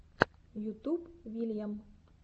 ютуб вильям